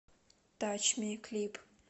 тач ми клип